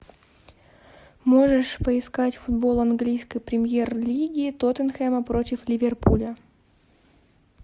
можешь поискать футбол английской премьер лиги тоттенхэма против ливерпуля